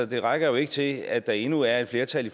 det rækker jo ikke til at der endnu er et flertal i